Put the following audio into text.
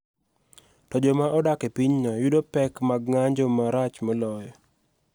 To joma odak e pinyno yudo pek mag ng�anjo marach moloyo.